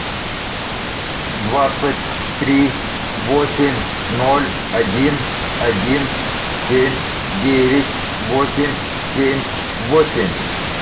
двадцать три восемь ноль один один семь девять восемь семь восемь